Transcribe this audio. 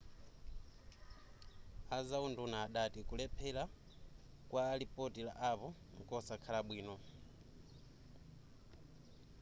azaunduna adati kulephereka kwa lipoti la apple nkosakhala bwino